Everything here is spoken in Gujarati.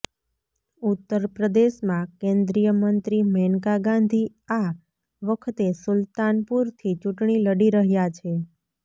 ઉત્તર પ્રદેશમાં કેન્દ્રીય મંત્રી મેનકા ગાંધી આ વખતે સુલ્તાનપુરથી ચૂંટણી લડી રહ્યાં છે